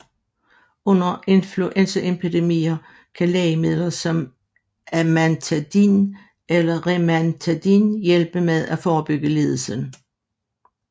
Under influenzaepidemier kan lægemidler som amantadin eller rimantadin hjælpe med at forebygge lidelsen